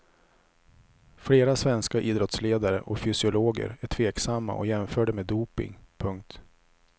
Flera svenska idrottsledare och fysiologer är tveksamma och jämför det med doping. punkt